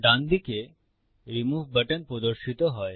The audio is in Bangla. ডানদিকে রিমুভ বাটন প্রদর্শিত হয়